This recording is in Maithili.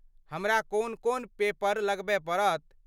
हमरा कोन कोन पेपर लगबय पड़त?